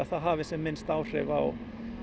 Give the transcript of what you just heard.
það hafi sem minnst áhrif á